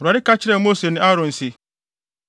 Awurade ka kyerɛɛ Mose ne Aaron se,